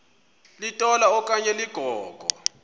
litola okanye ligogo